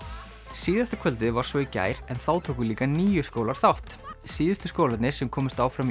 síðasta kvöldið var svo í gær en þá tóku líka níu skólar þátt síðustu skólarnir sem komust áfram í